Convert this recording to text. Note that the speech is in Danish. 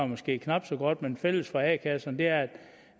måske knap så godt men fælles for a kasserne er